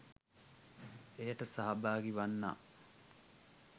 එයට සහභාගී වන්නා